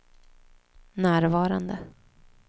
närvarande